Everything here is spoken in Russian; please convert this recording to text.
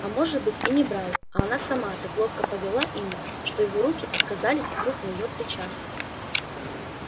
а может быть и не брал а она сама так ловко повела ими что его руки отказались вдруг на её плечах